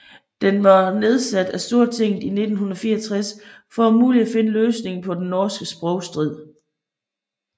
Den var nedsat af Stortinget i 1964 for om muligt finde en løsning på den norske sprogstrid